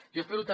jo espero també